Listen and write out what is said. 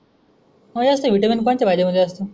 मला असं विटामिन कोणच पाहिजे असेल.